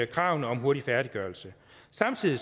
kravene om hurtig færdiggørelse samtidig